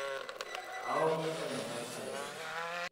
Kaomon tonyorrai taretoki.